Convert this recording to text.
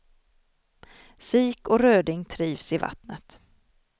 Sik och röding trivs i vattnet.